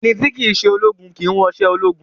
Ẹni tí kìí ṣe ológun kìí wọṣọ ológun